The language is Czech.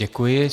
Děkuji.